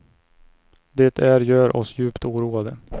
Det är gör oss djupt oroade.